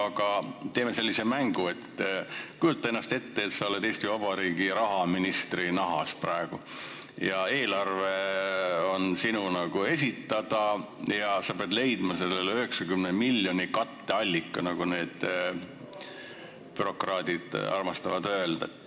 Aga teeme sellise mängu: kujuta ette, et sa oled praegu Eesti Vabariigi rahaministri nahas, eelarve on sinu esitada ja sa pead leidma sellele 90 miljonile katteallika, nagu bürokraadid armastavad öelda.